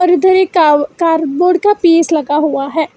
उधर एक का कार बोर्ड का पिस लगा हुआ है।